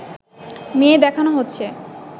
মেয়ে দেখানো হচ্ছে